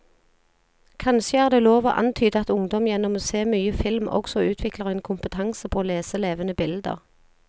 Kanskje er det lov å antyde at ungdom gjennom å se mye film også utvikler en kompetanse på å lese levende bilder.